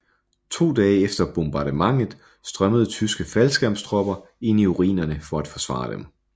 To dage efter bombardementet strømmede tyske faldskærmstropper ind i ruinerne for at forsvare dem